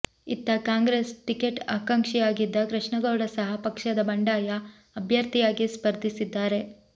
ಇತ್ತ Congress ticket ಆಕಾಂಕ್ಷಿಯಾಗಿದ್ದ ಕೃಷ್ಣ ಗೌಡ ಸಹ ಪಕ್ಷದ ಬಂಡಾಯ ಅಭ್ಯರ್ಥಿಯಾಗಿ ಸ್ಪರ್ಧಿಸಿದ್ದಾರೆ